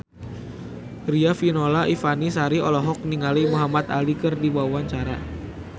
Riafinola Ifani Sari olohok ningali Muhamad Ali keur diwawancara